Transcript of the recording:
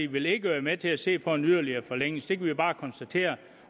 vil ikke være med til at se på en yderligere forlængelse det kan vi bare konstatere